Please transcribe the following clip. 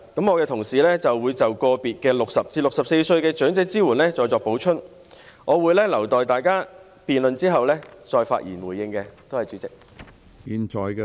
我的同事會就個別對60歲至64歲的長者支援再作補充，我會留待在大家辯論後，再發言回應，多謝主席。